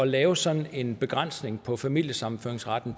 lave sådan en begrænsning på familiesammenføringsretten